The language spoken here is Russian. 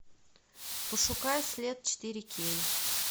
пошукай след четыре кей